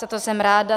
Za to jsem ráda.